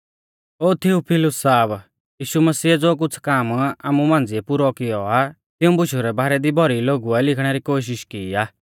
ओ Theophilus साहब यीशु मसिऐ ज़ो कुछ़ काम आमु मांझ़िऐ पुरौ कियौ आ तिऊं बुशु रै बारै दी भौरी लोगुऐ लिखणे री कोशिष की आ